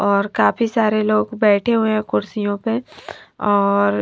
और काफी सारे लोग बैठे हुए हैं कुर्सियों पे और--